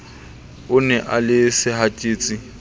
o e na le sehatsetsi